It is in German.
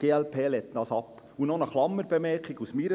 Eine persönliche Bemerkung zum Schluss: